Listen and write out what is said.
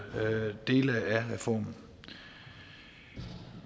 dele af reformen